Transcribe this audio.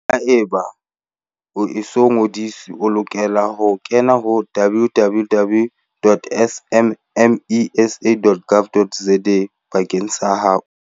Haeba o e so ngodiswe, o lokela ho kena ho www.smmesa.gov.za bakeng sa ho